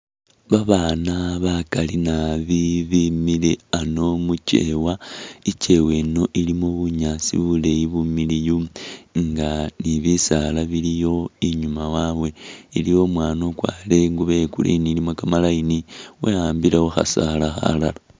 Babaana bakali nabi bimile ano mukyewa ,ikyewa eno ilimo bunyaasi buleyi bumiliyu, nga ni bisaala biliyo inyuma wabwe iliyo umwana ukwarire ingubo ye green ilimo kamalayini weyambile khu khasaala khalala